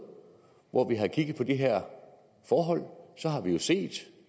hvor vi har kigget på de her forhold så har vi jo set